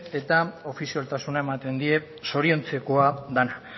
eta ofizialtasuna ematen die zoriontzekoa dena